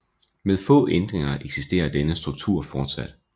Med få ændringer eksisterer denne struktur fortsat